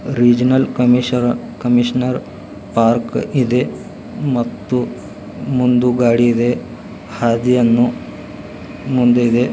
Reginald ಕಮಿಷನರ park ಇದೆ ಮತ್ತು ಮುಂದು ಗಾಡಿ ಇದೆ ಹಾದಿಯನು ಮುಂದು ಇದೆ.